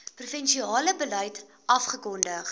provinsiale beleid afgekondig